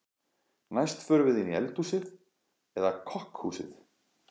Næst förum við inn í eldhúsið eða kokkhúsið.